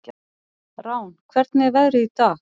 Rán, hvernig er veðrið í dag?